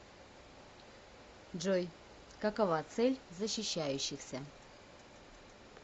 джой какова цель защищающихся